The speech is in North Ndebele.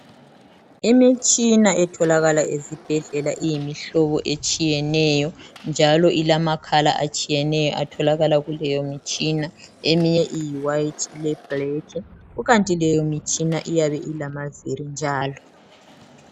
Imitshina etholakala ezibhedlela iyimihlobo etshiyeneyo njalo ilamakhala atshiyeneyo atholakala kuleyo mitshina eminye iyiwhite leblack. Kukanti ke leyo imitshina iyabe ilamaviri.